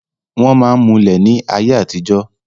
wọ́n máa ń mulẹ̀ ní ayé àtijọ́